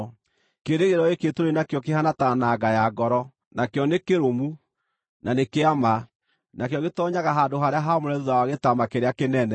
Kĩĩrĩgĩrĩro gĩkĩ tũrĩ nakĩo kĩhaana ta nanga ya ngoro, nakĩo nĩ kĩrũmu, na nĩ kĩa ma. Nakĩo gĩtoonyaga handũ-harĩa-haamũre thuutha wa gĩtama kĩrĩa kĩnene,